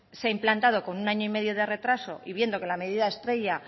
se ha implantado con un año y medio de retraso y viendo que la medida estrella